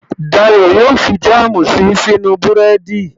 Dayọ̀ yóò fi jáàmù si sínú búrẹ́dì